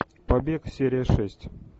побег серия шесть